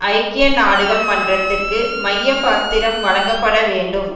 ஐக்கிய நாடுகள் மன்றத்திற்கு மைய பாத்திரம் வழங்கப்பட வேண்டும்